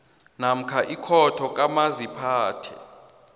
namkha ikhotho kamaziphathe